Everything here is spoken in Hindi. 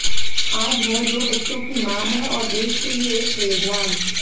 आज वह दो बच्चों की माँ हैं और देश के लिए एक प्रेरणा